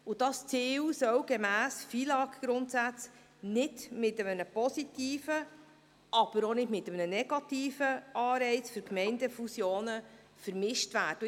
Dieses Ziel soll gemäss den FILAGGrundsätzen nicht mit einem positiven, aber auch nicht mit einem negativen Anreiz für Gemeindefusionen vermischt werden.